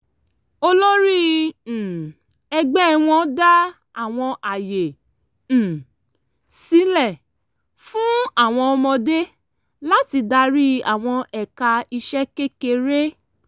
olórí um ẹgbẹ́ wọn dá àwọn àyè um sílẹ̀ fún àwọn ọmọdé láti darí àwọn ẹ̀ka iṣẹ́ kékeré